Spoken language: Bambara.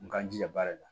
N k'an jija baara la